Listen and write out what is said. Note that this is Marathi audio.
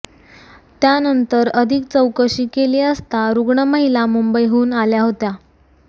त्यानंतर अधिक चौकशी केली असता रुग्ण महिला मुंबईहून आल्या होत्या